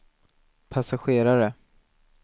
passagerare